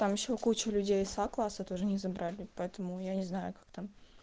там ещё куча людей с а класса тоже не забрали поэтому я не знаю как там